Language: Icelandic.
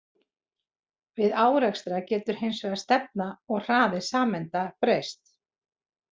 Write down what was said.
Við árekstra getur hins vegar stefna og hraði sameinda breyst.